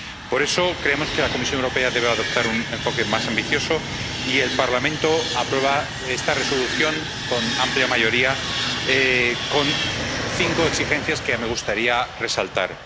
Por eso, creemos que la Comisión Europea debe adoptar un enfoque más ambicioso y el Parlamento aprueba esta Resolución, con amplia mayoría, con cinco exigencias que me gustaría resaltar.